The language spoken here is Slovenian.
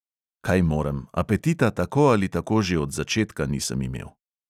Kaj morem, apetita tako ali tako že od začetka nisem imel.